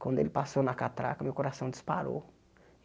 Quando ele passou na catraca, meu coração disparou.